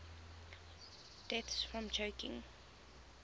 deaths from choking